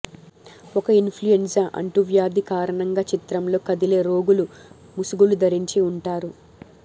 ఒక ఇన్ఫ్లుఎంజా అంటువ్యాధి కారణంగా చిత్రంలో కదిలే రోగులు ముసుగులు ధరించి ఉంటారు